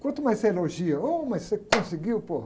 Quanto mais você elogia, ou, mas você conseguiu.